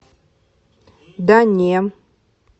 да не